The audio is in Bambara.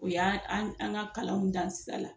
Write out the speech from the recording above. O y'a an an ka kalanw dan sira la